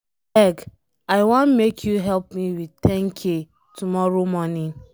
Abeg, I wan make you help me with 10k tomorrow morning.